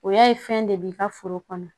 O y'a ye fɛn de b'i ka foro kɔnɔ